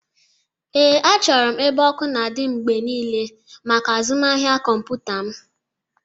Ee, achọrọ m ebe ọkụ na-adị mgbe niile maka azụmahịa kọmpụta m.